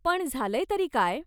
पण झालंय तरी काय?